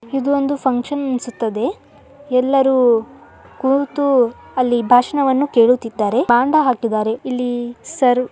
ದು ಒಂದು ಫುನ್ಕ್ಷನ್ ಅನ್ನಿಸುತ್ತದೆ. ಎಲ್ಲರೂ ಕೂತು ಅಲ್ಲಿ ಭಾಷಣವನ್ನು ಕೇಳುತ್ತಿದ್ದಾರೆ. ಮಂಡ್ಯ ಹಾಕಿದ್ದಾರೆ. ಇಲ್ಲಿ ಸರ್ವ್ --